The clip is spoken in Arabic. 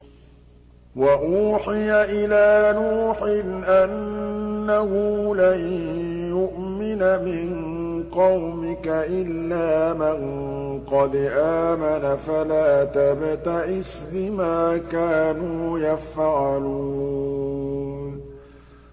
وَأُوحِيَ إِلَىٰ نُوحٍ أَنَّهُ لَن يُؤْمِنَ مِن قَوْمِكَ إِلَّا مَن قَدْ آمَنَ فَلَا تَبْتَئِسْ بِمَا كَانُوا يَفْعَلُونَ